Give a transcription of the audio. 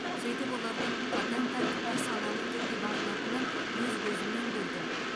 сөйтіп олардың қатаң тәртіпке саналы түрде бағынатынын өз көзіммен көрдім